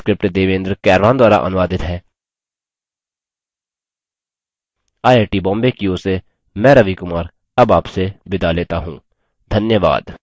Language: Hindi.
यह स्क्रिप्ट देवेन्द्र कैरवान द्वारा अनुवादित है आई आई टी बॉम्बे की ओर से मैं रवि कुमार अब आपसे विदा लेता हूँ धन्यवाद